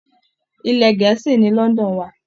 Ilẹ̀ Gẹ̀ẹ́sì ni London wà